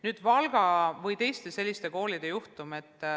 Nüüd Valga ja teiste selliste koolide juhtum.